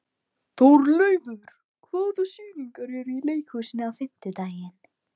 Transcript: Þórleifur, hvaða sýningar eru í leikhúsinu á fimmtudaginn?